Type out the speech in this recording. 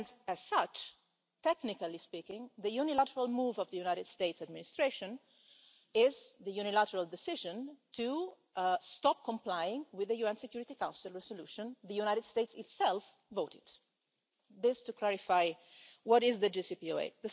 As such, technically speaking, the unilateral move of the United States Administration is the unilateral decision to stop complying with the UN Security Council resolution the United States itself voted. That is just to clarify what the JCPOA is.